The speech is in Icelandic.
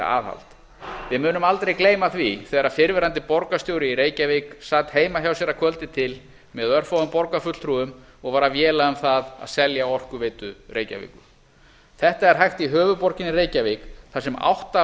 við munum aldrei gleyma því þegar fyrrverandi borgarstjóri í reykjavík sat heima hjá sér að kvöldi til með örfáum borgarfulltrúum og var að véla um það að selja orkuveitu reykjavíkur þetta er hægt í höfuðborginni reykjavík þar sem átta